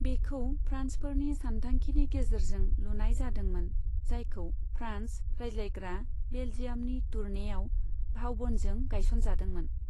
बेखौ फ्रान्सफोरनि सान्थांखिनि गेजेरजों लुनाय जादोंमोन, जायखौ फ्रान्स रायज्लायग्रा बेल्जियामनि टुर्नेईआव भाउबनजों गायसनजादोंमोन।